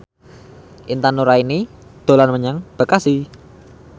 Intan Nuraini dolan menyang Bekasi